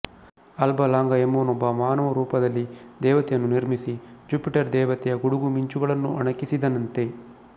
ಆಲ್ಬಲಾಂಗಾ ಎಂಬುವನೊಬ್ಬ ಮಾನವ ರೂಪದಲ್ಲಿ ದೇವತೆಯನ್ನು ನಿರ್ಮಿಸಿ ಜುಪಿಟರ್ ದೇವತೆಯ ಗುಡುಗು ಮಿಂಚುಗಳನ್ನು ಅಣಕಿಸಿದನಂತೆ